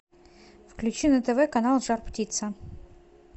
включи на тв канал жар птица